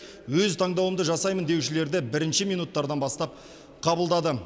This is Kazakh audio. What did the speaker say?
өз таңдауымды жасаймын деушілерді бірінші минуттардан бастап қабылдады